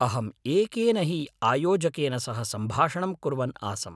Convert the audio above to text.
अहम् एकेन हि आयोजकेन सह सम्भाषणं कुर्वन् आसम्।